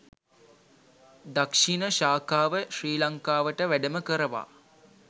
දක්‍ෂිණ ශාඛාව ශ්‍රී ලංකාවට වැඩම කරවා